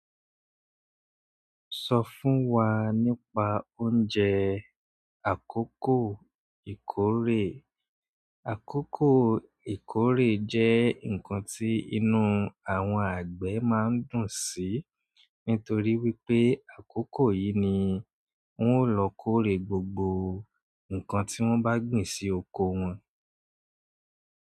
Sọ fún wa nípa oúnjẹ àkókò ìkórè. Àkókò ìkórè jẹ́ ǹkan tí inú àwọn àgbẹ̀ máa ń dùn sí nítorí wípé àkókò yìí ni wón ó lọ kórè gbogbo ǹkan tí wón bá gbìn sí oko wọn.